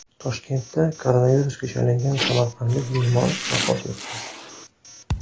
Toshkentda koronavirusga chalingan samarqandlik bemor vafot etdi.